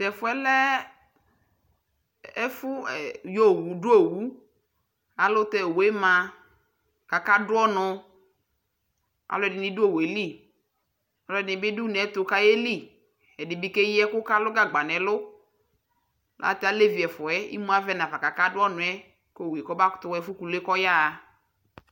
tɛ fuɛ lɛ ɛfu du owu ayɛlutɛ owue mã ku aka du ɔnu aludini du owue li aludini bii ka ye li ɛdi bi ke ɣi ɛku ka lu gabga nɛ ɛlu ata alevi ɛfuɛ imua ʋɛ nafa ku aka du ɔnu yɛ ku owue kɔba kuto ɣa ɛfuɛ kulue kɔ yaɣa